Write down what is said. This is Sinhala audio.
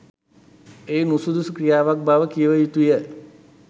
එය නුසුදුසු ක්‍රියාවක් බව කිව යුතු ය.